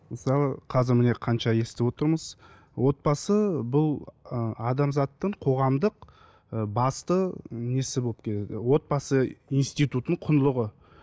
мысалы қазір міне қанша естіп отырмыз отбасы бұл ы адамзаттың қоғамдық ы басты несі болып отбасы институтының құндылығы